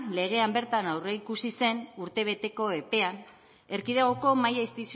legean bertan aurreikusi zen urtebeteko epean erkidegoko mahai